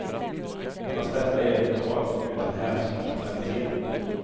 Fast detta gäller totalt och utan hänsyn till kvalitet.